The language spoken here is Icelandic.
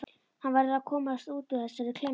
Hann verður að komast út úr þessari klemmu.